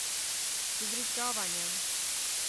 Z vbrizgavanjem!